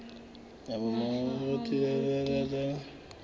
mohahamoriti